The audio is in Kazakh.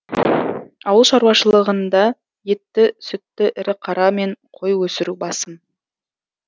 ауыл шаруалшылығында етті сүтті ірі қара мен қой өсіру басым